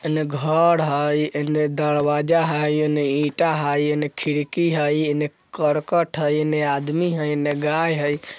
इने घर हय इने दरवाजा हय इने ईटा हय इने खिड़की हय इने करकट हय इने आदमी हय इने गाय हय।